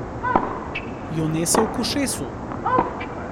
Jo nesel k ušesu.